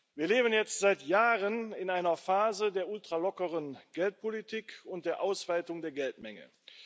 Wir leben jetzt seit Jahren in einer Phase der ultralockeren Geldpolitik und der Ausweitung der Geldmenge.